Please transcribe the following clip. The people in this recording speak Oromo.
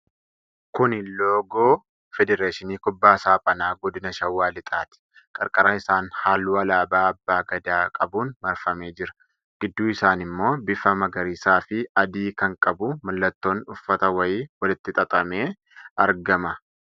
Kuni loogoo Feedereshinii Kubbaa Saaphanaa Godina Shawaa Lixaati. Qarqara isaan halluu alaabaa abbaa gadaa qabuun marfamee jira. gidduu isaan ammoo bifa magariisa fi adii kan qabu, mallattoon uffata wayii walitti xaxamee argama.